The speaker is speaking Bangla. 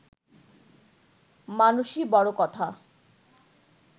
মানুষই বড় কথা